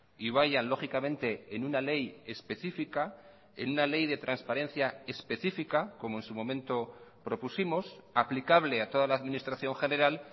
y vayan lógicamente en una ley específica en una ley de transparencia específica como en su momento propusimos aplicable a toda la administración general